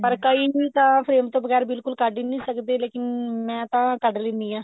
ਪਰ ਕਈ ਤਾਂ frame ਤੋਂ ਬਗੈਰ ਬਿਲਕੁੱਲ ਕੱਡ ਹੀ ਨਹੀਂ ਸਕਦੇ ਲੇਕਿਨ ਮੈਂ ਤਾਂ ਕੱਡ ਲੇਨੀ ਆ